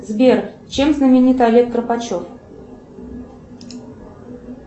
сбер чем знаменит олег карпачев